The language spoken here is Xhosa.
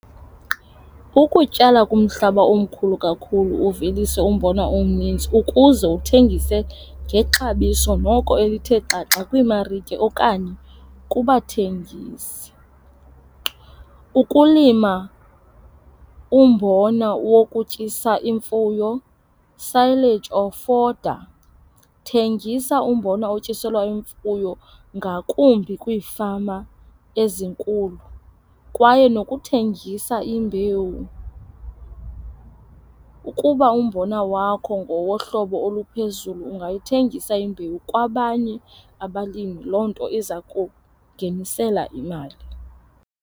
Ukutyala kumhlaba omkhulu kakhulu uvelise umbona omnintsi ukuze uthengise ngexabiso noko elithe xaxa kwiimarike okanye kubathengisi. Ukulima umbona wokutyisa imfuyo, silage or fodder. Thengisa umbona otyiselwa imfuyo ngakumbi kwiifama ezinkulu kwaye nokuthengisa imbewu. Ukuba umbona wakho ngowohlobo oluphezulu ungayithengisa imbewu kwabanye abalimi. Loo nto iza kungenisela imali.